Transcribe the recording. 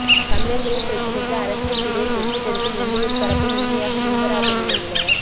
தமிழர்களின் பிரச்சினைக்கு அரசியல் தீர்வை பெற்றுக்கொடுக்க எந்தவொரு தரப்பும் உண்மையாக முன்வராத நிலையில